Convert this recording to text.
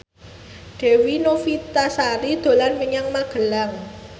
Dewi Novitasari dolan menyang Magelang